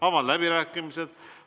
Avan läbirääkimised.